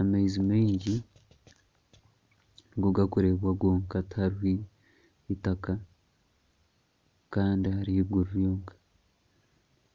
Amaizi maingi nigo garikureebwa gonka tihariho eitaka kandi hariho eiguru ryonka,